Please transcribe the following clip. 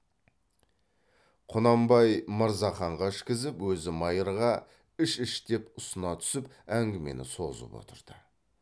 құнанбай мырзаханға ішкізіп өзі майырға іш іш деп ұсына түсіп әңгімені созып отырды